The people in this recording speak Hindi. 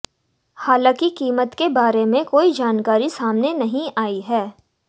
हालांकि कीमत के बारे में कोई जानकारी सामने नहीं आई है